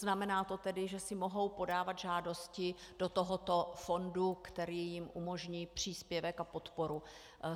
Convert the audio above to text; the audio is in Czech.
Znamená to tedy, že si mohou podávat žádosti do tohoto fondu, který jim umožní příspěvek a podporu.